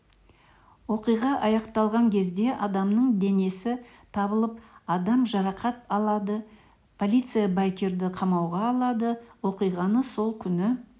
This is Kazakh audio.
оқиға аяқталған кезде адамның денесі табылып адам жарақат алады полиция байкерді қамауға алады оқиғаны сол күні